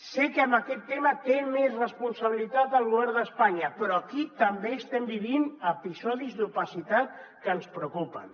sé que en aquest tema té més responsabilitat el govern d’espanya però aquí també estem vivint episodis d’opacitat que ens preocupen